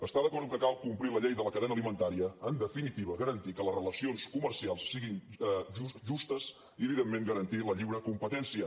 està d’acord amb que cal complir la llei de la cadena alimentària en definitiva garantir que les relacions comercials siguin justes i evidentment garantir la lliure competència